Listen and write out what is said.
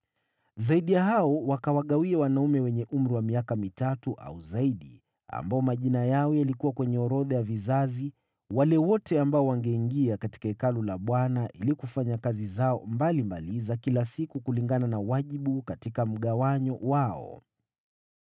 Zaidi ya hao wakawagawia wanaume wenye umri wa miaka mitatu au zaidi ambao majina yao yalikuwa kwenye orodha ya vizazi, wale wote ambao wangeingia katika Hekalu la Bwana ili kufanya kazi zao mbalimbali za kila siku kulingana na wajibu katika mgawanyo wao.